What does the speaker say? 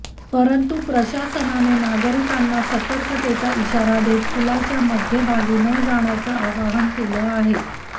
परंतु प्रशासनाने नागरिकांना सतर्कतेचा इशारा देत पुलाच्या मध्यभागी न जाण्याचं आवाहन केलं आहे